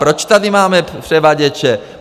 Proč tady máme převaděče?